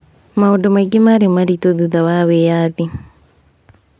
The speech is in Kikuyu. Maũndũ maingĩ marĩ maritũ thutha wa wĩyathi.